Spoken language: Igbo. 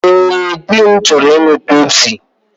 Ee, dị m chọrọ ịṅụ Pepsi.